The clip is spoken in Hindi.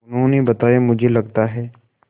उन्होंने बताया मुझे लगता है